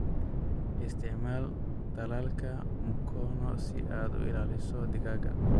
Isticmaal tallaalka mukono si aad u ilaaliso digaagga.